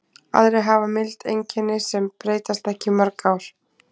Aðrir hafa mild einkenni sem breytast ekki í mörg ár.